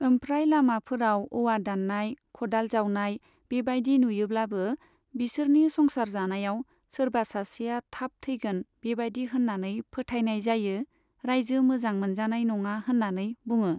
ओमफ्राय लामाफोराव औवा दाननाय खदाल जावनाय बेबायदि नुयोब्लाबो बिसोरनि संसार जानायाव सोरबा सासेया थाब थैगोन बिबायदि होन्नानै फोथायनाय जायो रायजो मोजां मोनजानाय नङा होन्नानै बुङो।